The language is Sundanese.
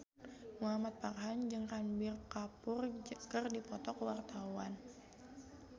Muhamad Farhan jeung Ranbir Kapoor keur dipoto ku wartawan